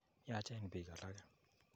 Yaachen piik alake.